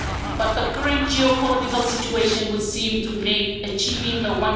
But the current geopolitical situation would seem to make achieving